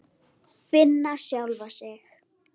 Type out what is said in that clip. Finna sjálfa sig.